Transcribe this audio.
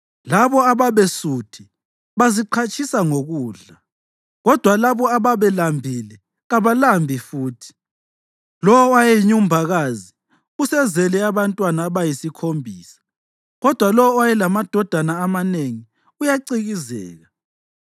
Labo ababesuthi baziqhatshisa ngokudla, kodwa labo ababelambile kabalambi futhi. Lowo owayeyinyumbakazi usezele abantwana abayisikhombisa, kodwa lowo owayelamadodana amanengi uyacikizeka.